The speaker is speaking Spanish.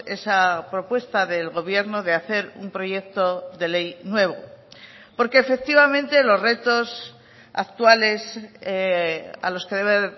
esa propuesta del gobierno de hacer un proyecto de ley nuevo porque efectivamente los retos actuales a los que debe